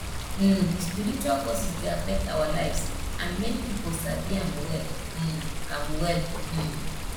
um spiritual forces dey affect our lives and many pipo sabi am well um am well um